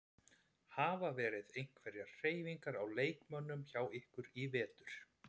Hafa verið einhverjar hreyfingar á leikmönnum hjá ykkur í vetur?